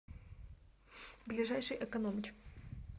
ближайший экономыч